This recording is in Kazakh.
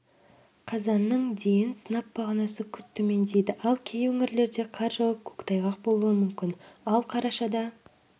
қазанның дейін сынап бағанасы күрт төмендейді кей өңірлерде қар жауып көктайғақ болуы мүмкін ал қарашада